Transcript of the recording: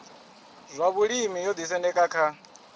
zwa vhulimi yo isendeka kha